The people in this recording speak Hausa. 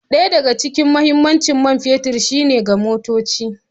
Ɗaya daga cikin mahimmancin man fetur shine ga motoci.